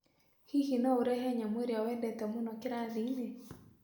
Hihi no ũrehe nyamũ ĩrĩa wendete mũno kĩrathi-inĩ?